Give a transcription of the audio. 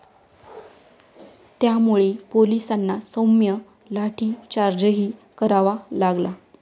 त्यामुळे पोलिसांना सौम्य लाठीचार्जही करावा लागला.